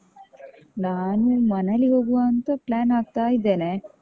ನಾನು ಮನಾಲಿಗೆ ಹೋಗ್ವಾಂತ plan ಹಾಕ್ತಾ ಇದ್ದೇನೆ.